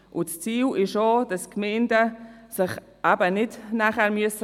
Das Ziel ist auch, dass sich die Gemeinden danach eben nicht revanchieren müssen.